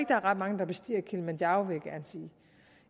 er ret mange der bestiger kilimanjaro